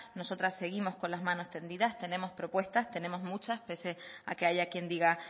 nosotras seguimos con las manos tendidas tenemos propuestas tenemos muchas pese a que haya quien diga